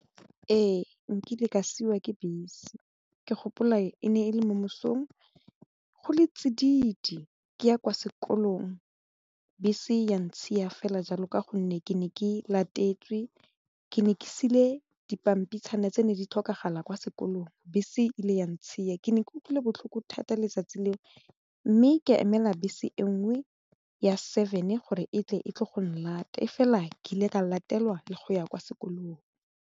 Ee, nkile ka siiwa ke bese ke gopola e ne e le momesong go le tsididi ke ya kwa sekolong bese ya ntshiya fela jalo ka gonne ke ne ke latetswe ke ne ke sule dipampitshana tse ne di tlhokagala kwa sekolong bese ile yang tshia ke ne ke utlwile botlhoko thata letsatsi leo mme ka emela bese e nngwe ya seven gore e tle go nlate fela ke ile ka latelwa le go ya kwa sekolong.